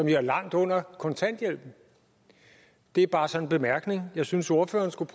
ligger langt under kontanthjælpen det er bare sådan en bemærkning jeg synes ordføreren skulle